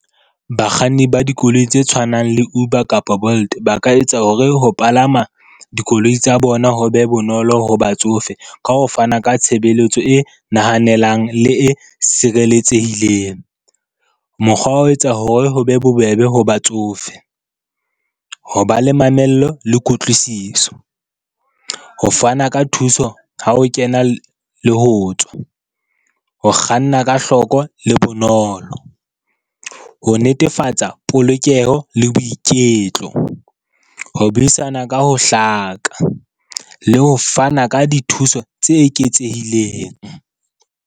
Bakganni ba dikoloi tse tshwanang le Uber kapa Bolt, ba ka etsa hore ho palama dikoloi tsa bona ho be bonolo ho batsofe ka ho fana ka tshebeletso e nahanelang le e sireletsehileng. Mokgwa wa ho etsa hore ho be bobebe ho batsofe, ho ba le mamello le kutlwisiso, ho fana ka thuso ha o kena le ho tswa, ho kganna ka hloko le bonolo, ho netefatsa polokeho le boiketlo, ho buisana ka ho hlaka le ho fana ka dithuso tse eketsehileng.